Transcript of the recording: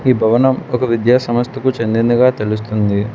ఈ భవనం ఒక విద్యా సమస్తకు చెందిందిగా తెలుస్తుంది.